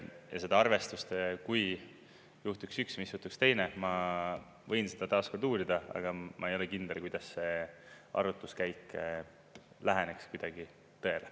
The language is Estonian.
Ja seda arvestust, kui juhtuks üks või sootuks teine, ma võin seda taas uurida, aga ma ei ole kindel, kuidas see arvutuskäik läheneks kuidagi tõele.